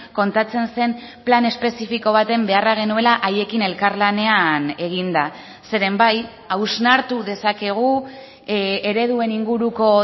kontatzen zen plan espezifiko baten beharra genuela haiekin elkarlanean eginda zeren bai hausnartu dezakegu ereduen inguruko